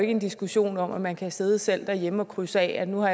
en diskussion om at man kan sidde sidde derhjemme og krydse af at nu har